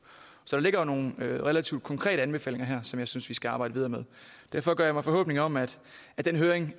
så der ligger jo nogle relativt konkrete anbefalinger her som jeg synes vi skal arbejde videre med derfor gør jeg mig forhåbninger om at den høring